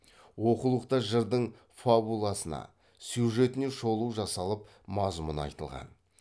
окулықта жырдың фабуласына сюжетіне шолу жасалып мазмұны айтылған